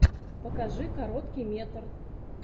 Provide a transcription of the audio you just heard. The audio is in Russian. покажи короткий метр